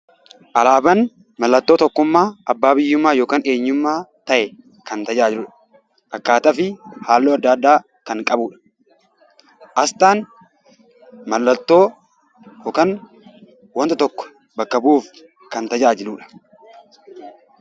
Alaabaan mallattoo tokkummaa abbaa biyyummaa yookaan eenyummaa ta'e kan tajaajiludha. Akkaataa fi haalluu adda addaa kan qabudha. Asxaan mallattoo yookaan wanta tokko bakka bu'uuf kan tajaajiludha.